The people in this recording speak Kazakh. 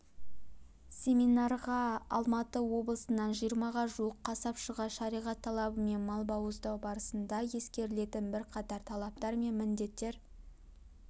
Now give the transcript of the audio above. семинарға алматы облысынан жиырмаға жуық қасапшыға шариғат талабымен мал бауыздау барысында ескерілетін бірқатар талаптар мен міндеттер